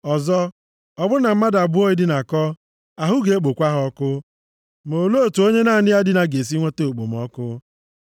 Ọzọ, ọ bụrụ na mmadụ abụọ edinakọ, ahụ ga-ekpokwa ha ọkụ, ma olee otu onye naanị ya dina ga-esi nweta okpomọkụ?